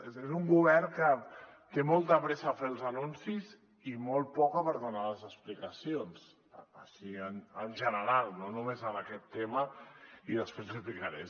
és a dir és un govern que té molta pressa a fer els anuncis i molt poca per donar les explicacions així en general no només en aquest tema i després l’hi explicaré